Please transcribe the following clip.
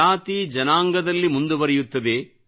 ಜಾತಿ ಜನಾಂಗದಲ್ಲಿ ಮುಂದುವರೆಯುತ್ತದೆ